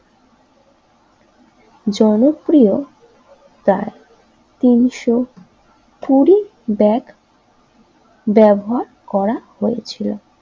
জনপ্রিয় তার তিনশো কুড়ি ব্যাগ ব্যবহার করা হয়েছিল